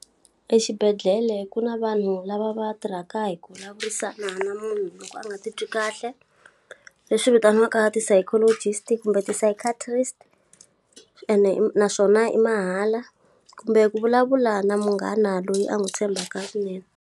Exibedhlele ku na vanhu lava va tirhaka hi ku vulavurisana na munhu loko a nga titwi kahle. Leswi vitaniwaka ti-psychologist kumbe ti-psychiatrist, ene naswona i mahala. Kumbe ku vulavula na munghana loyi a n'wi tshembaka kunene.